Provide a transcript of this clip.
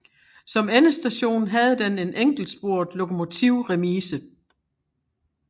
Som endestation havde den en enkeltsporet lokomotivremise